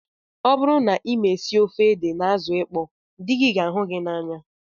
Ọ bụrụ na ị ma esi ofe ede na azụ ịkpọ dị gị ga ahụ gị n'anya